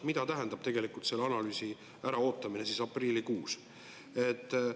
Mida tähendab tegelikult selle analüüsi äraootamine aprillikuus?